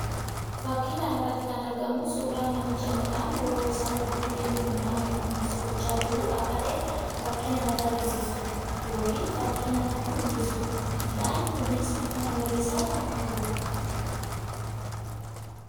Fakkii kana irratti kan argamu suuraa namicha midhaan bo'oo isaa gidduu deemuun midhaaniif kunuunsa gochaa jiru akka ta'e fakkii namatti agarsiisuu dha yookiin fakkii namatti mul'isuu dha. Midhaan kunis bifa magariisaa kan qabuu dha.